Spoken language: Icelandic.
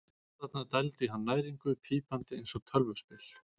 Vélarnar dældu í hann næringu, pípandi eins og tölvuspil.